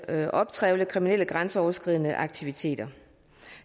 at optrævle kriminelle grænseoverskridende aktiviteter